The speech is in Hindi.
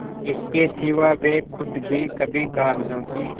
इसके सिवा वे खुद भी कभी कागजों की